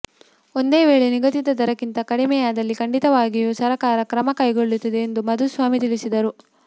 ಒಂದು ವೇಳೆ ನಿಗದಿತ ದರಕ್ಕಿಂತ ಕಡಿಮೆಯಾದಲ್ಲಿ ಖಂಡಿತವಾಗಿಯೂ ಸರಕಾರ ಕ್ರಮ ಕೈಗೊಳ್ಳುತ್ತದೆ ಎಂದು ಮಾಧುಸ್ವಾಮಿ ತಿಳಿಸಿದರು